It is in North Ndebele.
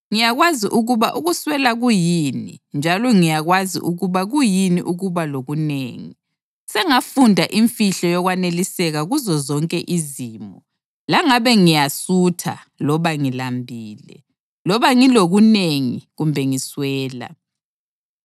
Ngiyakwazi ukuba ukuswela kuyini njalo ngiyakwazi ukuba kuyini ukuba lokunengi. Sengafunda imfihlo yokwaneliseka kuzozonke izimo, langabe ngiyasutha loba ngilambile, loba ngilokunengi kumbe ngiswela.